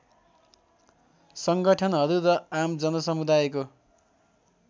सङ्गठनहरू र आम जनसमुदायको